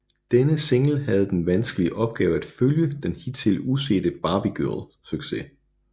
Denne single havde den vanskelige opgave at følge den hidtil usete Barbie Girl succes